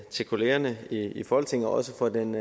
til kollegaerne i folketinget og også for den